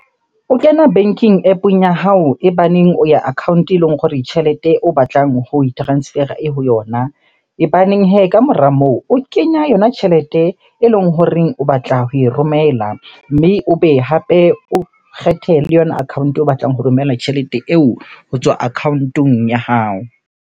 O kena banking App-ong ya hao e baneng o ya account-e eleng hore tjhelete o batlang ho e transfer-a e ho yona. E baneng hee kamora moo, o kenya yona tjhelete eleng horeng o batla ho e romela. Mme o be hape o kgethe le yona account-o o batlang ho romela tjhelete eo ho tswa account-ong ya hao.